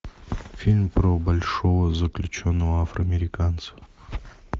фильм про большого заключенного афроамериканца